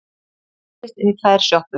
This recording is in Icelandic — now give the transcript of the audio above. Brotist inn í tvær sjoppur